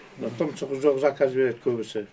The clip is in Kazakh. мына тұмсығы жоқ заказ береді көбісі